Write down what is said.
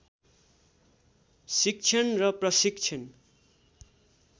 शिक्षण र प्रशिक्षण